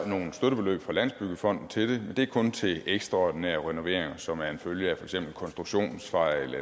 nogle støttebeløb fra landsbyggefonden til det det er kun til ekstraordinære renoveringer som er en følge af for eksempel konstruktionsfejl